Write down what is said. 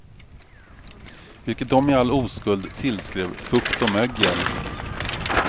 Vilket de i all oskuld tillskrev fukt och mögel.